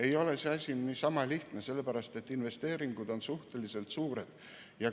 Ei ole see asi niisama lihtne, sest investeeringud on suhteliselt suured.